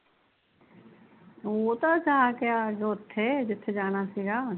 ਉਹ ਤਾਂ ਜਾ ਕੇ ਆ ਉੱਥੇ ਜਿੱਥੇ ਜਾਣਾ ਸੀਗਾ